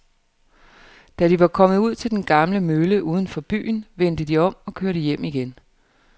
Da de var kommet ud til den gamle mølle uden for byen, vendte de om og kørte hjem igen.